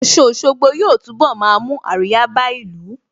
Ọ̀sun Òṣogbo yóò túnbọ̀ máa mú àríyá bá ìlú